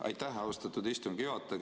Aitäh, austatud istungi juhataja!